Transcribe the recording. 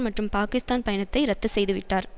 மற்றும் பாகிஸ்தான் பயணத்தை இரத்து செய்துவிட்டார்